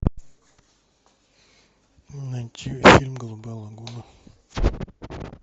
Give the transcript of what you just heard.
найти фильм голубая лагуна